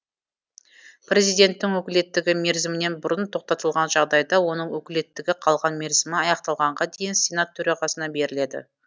президенттің өкілеттігі мерзімінен бұрын тоқтатылған жағдайда оның өкілеттігі қалған мерзімі аяқталғанға дейін сенат төрағасына беріледі